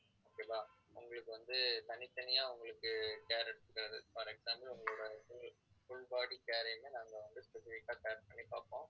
okay வா உங்களுக்கு வந்து தனித்தனியா உங்களுக்கு care எடுத்துக்கிறது for example உங்களோட உங்களுக்கு full body care இயுமே நாங்க வந்து scan பண்ணி பார்ப்போம்